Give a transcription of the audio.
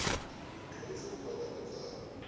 mudyondzi u kota ku tsala